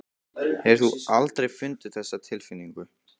Hefur þú aldrei fundið þessa tilfinningu?